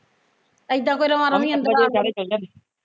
ਇੱਦਾਂ ਕੋਈ ਅੰਦਰ ਆ ਜਵੇ